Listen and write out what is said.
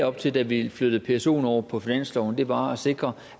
op til da vi flyttede psoen over på finansloven var at sikre